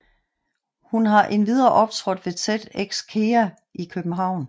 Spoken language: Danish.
Hun har endvidere optrådt ved TEDxKEA i København